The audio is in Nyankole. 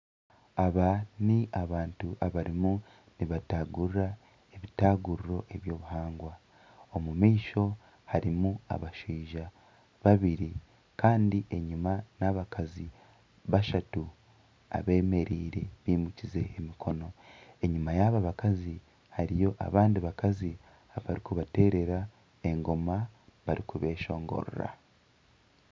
Aba n'abantu abarimu nibatagurira ebitaguriro eby'obuhangwa. Omu maisho harimu abashaija babiri kandi enyima n'abakazi bashatu abemereire bimukize emikono. Enyima yaba bakazi hariyo abandi bakazi abarikubaterera engoma bari kubeshongorera.